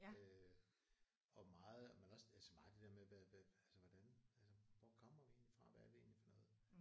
Øh og meget men også altså meget det der med hvad hvad altså hvordan altså hvor kommer vi egentlig fra hvad er vi egentlig for noget